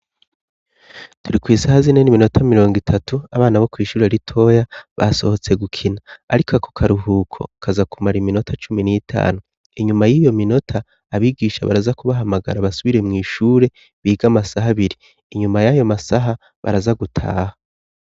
Turi kw'isaha zine n'iminota mirongo itatu abana bo kw' ishure ritoya basohotse gukina. Ariko ako karuhuko kazakumara iminota cumi n'itanu ,inyuma y'iyo minota abigisha baraza kubahamagara basubire mw' ishure biga amasaha abiri, inyuma y'ayo masaha baraza gutaha.